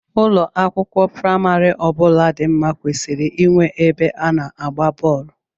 Ụlọ akwụkwọ praimari ọbụla dị nma kwesịrị inwe ebe a na-agba bọọlụ.